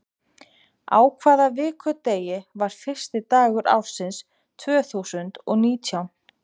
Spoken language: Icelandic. Á hvaða vikudegi var fyrsti dagur ársins tvö þúsund og nítján?